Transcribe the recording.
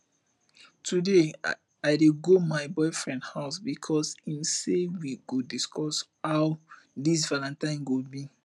today i dey go my boyfriend house because im say we go discuss how dis valentine go be